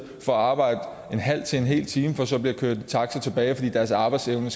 for at arbejde en halv til en hel time for så at blive kørt i taxa tilbage igen fordi deres arbejdsevne